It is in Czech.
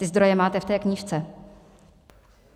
Ty zdroje máte v té knížce.